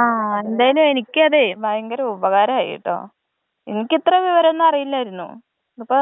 ആ എന്തായാലും എനിക്കതേയ് ഭയങ്കര ഉപകാരമായിട്ടോ.എനിക്ക് ഇത്രേം വിവരം ഒന്നും അറിയില്ലായിരുന്നു.അപ്പൊ